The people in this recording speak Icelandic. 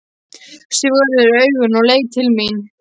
Sigvarður augun og leit til mín.